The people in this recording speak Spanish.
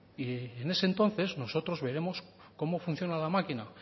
y en ese entonces nosotros veremos cómo funciona la máquina